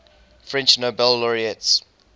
french nobel laureates